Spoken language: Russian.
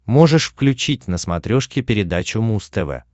можешь включить на смотрешке передачу муз тв